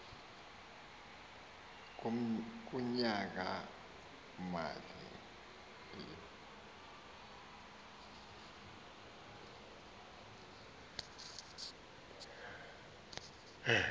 kunyaka mali u